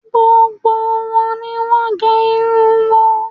Gbogbo wọn ni wọ́n gẹ irun wọn